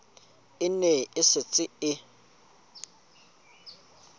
e ne e setse e